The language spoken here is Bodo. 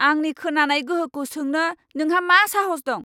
आंनि खोनानाय गोहोखौ सोंनो नोंहा मा साहस दं?